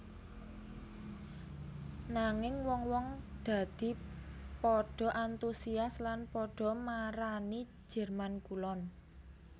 Nanging wong wong dadi padha antusias lan padha marani Jerman Kulon